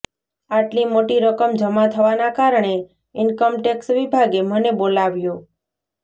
આટલી મોટી રકમ જમા થવાના કારણે ઇન્કમટેક્ષ વિભાગે મને બોલાવ્યો